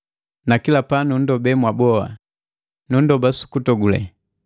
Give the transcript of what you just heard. na kila pa nunndobee mwaboa, nundoba sukutogule,